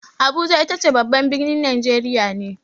Abuja itace babban birnin Najeriya ne.